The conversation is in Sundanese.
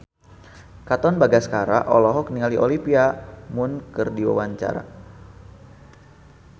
Katon Bagaskara olohok ningali Olivia Munn keur diwawancara